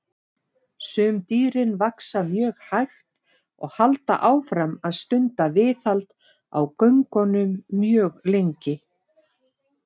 Sum dýrin vaxa mjög hægt og halda áfram að stunda viðhald á göngunum mjög lengi.